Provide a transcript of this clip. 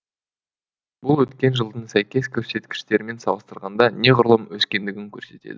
бұл өткен жылдың сәйкес көрсеткіштерімен салыстырғанда неғұрлым өскендігін көрсетеді